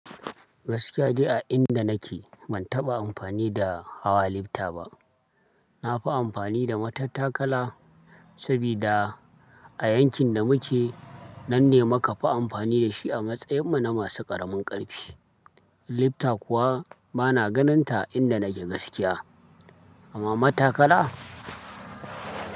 Gaskiya jiya a inda nake ban taɓa amfani da hawa lifta ba. Na fi amfani da matattakala sabida a yankin da muke nan ne muka fi amfani da shi a matsayinmu na masu ƙaramin ƙarfi. Lifta kuwa bana ganin ta inda nake gaskiya. Amma matakala?